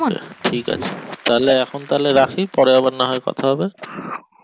ঠিক আছে তালে এখন তালে রাখি পরে নাহয় কথা হবে